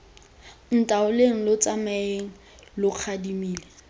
ntaoleng lo tsamae lo gadimile